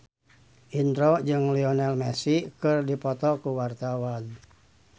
Indro jeung Lionel Messi keur dipoto ku wartawan